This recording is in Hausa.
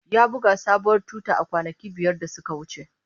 Ya buga sabuwar tuta kwanaki biyar da suka wuce.